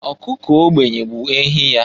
Ọkụkọ ogbenye bụ ehi ya.